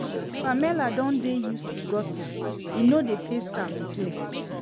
Pamela don dey used to gossip, e no dey faze am again